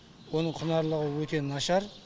оның құнарлығы өте нашар